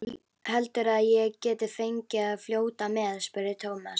Heldurðu að ég gæti fengið að fljóta með? spurði Thomas.